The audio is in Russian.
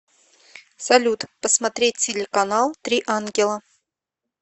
салют посмотреть телеканал три ангела